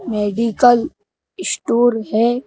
Medical store है।